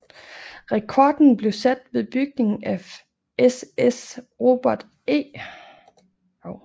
Rekorden blev sat ved bygningen af SS Robert E